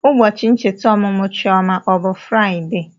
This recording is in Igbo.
Ụbọchị ncheta ọmụmụ Chioma ọ bụ Fraịdee?